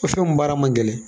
O min baara man gɛlɛn